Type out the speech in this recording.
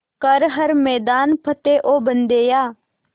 कर हर मैदान फ़तेह ओ बंदेया